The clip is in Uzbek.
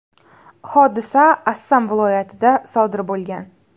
Hodisa Assam viloyatida sodir bo‘lgan.